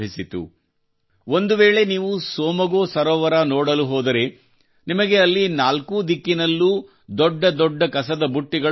ಒಂದುವೇಳೆ ನೀವು ಟ್ಸೊಮ್ಗೊ ಸೋಮಗೋ ಸರೋವರ ನೋಡಲು ಹೋದರೆ ನಿಮಗೆ ಅಲ್ಲಿ ನಾಲ್ಕೂ ದಿಕ್ಕಿನಲ್ಲೂ ದೊಡ್ಡ ದೊಡ್ಡ ಕಸದ ಬುಟ್ಟಿಗಳು ಕಾಣಸಿಗುತ್ತವೆ